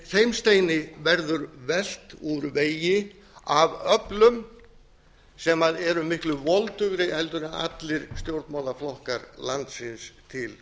þeim steini verður velt úr vegi af öflum sem eru miklu voldugri heldur en allri stjórnmálaflokkar landsins til